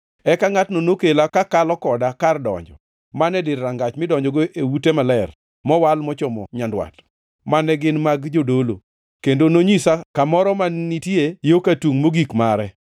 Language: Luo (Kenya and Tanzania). Eka ngʼatno nokela kakalo koda kar donjo man e dir rangach midonjogo e ute maler mowal mochomo nyandwat, mane gin mag jodolo, kendo nonyisa kamoro mane nitie yo ka tungʼ mogik mare.